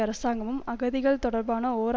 அரசாங்கமும் அகதிகள் தொடர்பான ஓர்